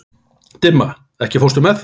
Dimma, ekki fórstu með þeim?